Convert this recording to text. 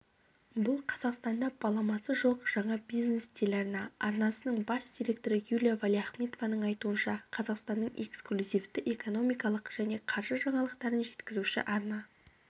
бұл қазақстанда баламасы жоқ жаңа бизнес-телеарна арнасының бас директоры юлия валиахметованың айтуынша қазақстанның эксклюзивті экономикалық және қаржы жаңалықтарын жеткізуші арна